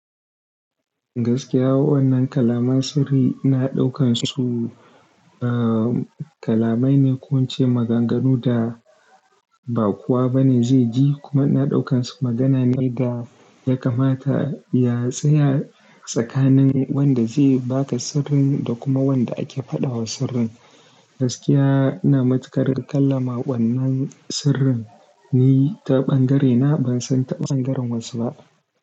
Gaskiya, wannan kalaman sirri ina ɗaukan su, uh, kalamai ne ko ince maganganu da ba kowa ba ne zai ji kuma ina ɗaukan su magana ne da ya kamata ya tsaya tsakanin wanda zai ba da sirrin da kuma wanda ake faɗa wa sirrin. Gaskiya ina matuƙar kalla ma wannan sirrin ni ta bangarena, ban san ta bangaren wasu ba.